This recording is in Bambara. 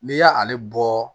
N'i y'ale bɔ